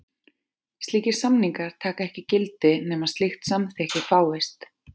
Slíkir samningar taka ekki gildi nema slíkt samþykki fáist.